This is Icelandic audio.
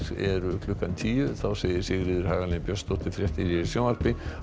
eru klukkan tíu þá segir Sigríður Hagalín Björnsdóttir fréttir hér í sjónvarpi og